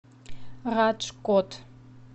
раджкот